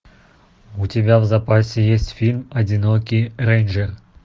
у тебя в запасе есть фильм одинокий рейнджер